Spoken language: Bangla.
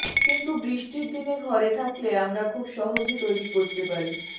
কিন্তু বৃষ্টির দিনে ঘরে থাকলে আমরা খুব সহজে তৈরি করতে পারি